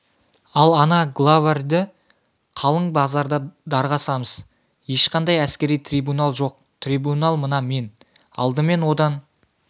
ал ана главарьді қалың базарда дарға асамыз ешқандай әскери трибунал жоқ трибунал мына мен алдымен одан